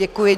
Děkuji.